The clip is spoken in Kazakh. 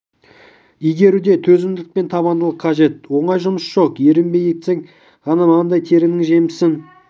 игеруде төзімділік пен табандылық қажет оңай жұмыс жоқ ерінбей еңбек етсең ғана маңдай теріңнің жемісін